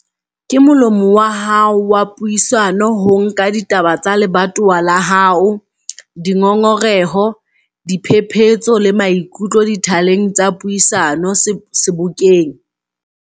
Ke molomo wa hao wa puisano ho nka ditaba tsa lebatowa la hao, dingongoreho, diphephetso le maikutlo dithaleng tsa puisano Sebokeng.